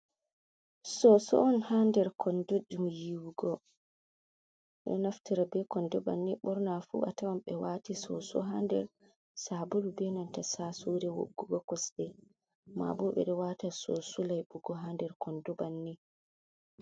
Soso'on ha nder kondo je yiwigo. Beɗo naftira be kondo bannin bornafu atawan be wati soso ha nder sabulu be nanta sasure wuggugo kosde. mabobe beɗo wata soso laibugo ha nder kondo bannin.